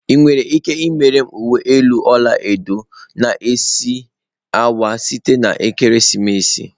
Ị nwere ike imere m uwe elu ọla edo na isi awọ site na ekeresimesi?